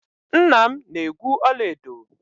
Nna m na-egwu ọla edo.